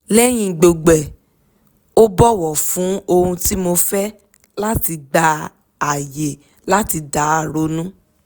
lẹ́yìn gbogbo ẹ̀ ó bọ́wọ̀ fún ohun tí mo fẹ́ láti gba àyè láti dá ronú